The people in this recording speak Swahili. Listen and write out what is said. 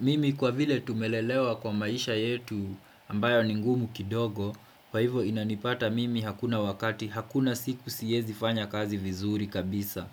Mimi kwa vile tumelelewa kwa maisha yetu ambayo ni ngumu kidogo, Kwa hivo inanipata mimi hakuna wakati hakuna siku siezi fanya kazi vizuri kabisa.